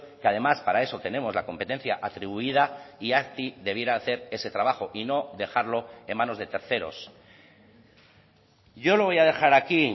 que además para eso tenemos la competencia atribuida y azti debiera hacer ese trabajo y no dejarlo en manos de terceros yo lo voy a dejar aquí